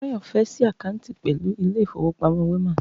Túnráyò̩ fé̩ s̩í àkáàǹtì pè̩lú ilé ìfowópamó̩ Wema